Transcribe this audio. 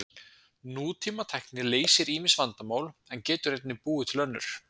Nútímatækni leysir ýmis vandamál en getur einnig búið til önnur.